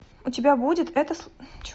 у тебя будет это